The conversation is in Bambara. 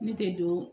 Ne tɛ don